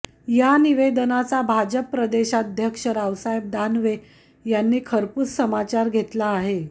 या निवेदनाचा भाजप प्रदेशाध्यक्ष रावसाहेब दानवे यांनी खरपूस समाचार घेतला आहे